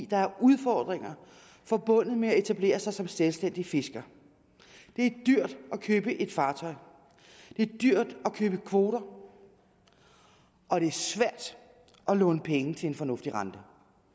der er udfordringer forbundet med at etablere sig som selvstændig fisker det er dyrt at købe et fartøj det er dyrt at købe kvoter og det er svært at låne penge til en fornuftig rente